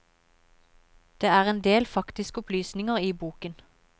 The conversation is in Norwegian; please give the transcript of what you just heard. Det er en del faktiske opplysninger i boken.